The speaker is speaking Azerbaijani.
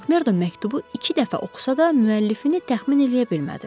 Makmerdo məktubu iki dəfə oxusa da, müəllifini təxmin eləyə bilmədi.